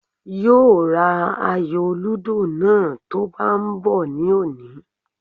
Yóò ra ayò lúdò náà tó ń bá bọ̀ ní òní